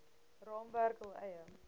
raamwerk hul eie